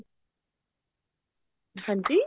ਹਾਂਜੀ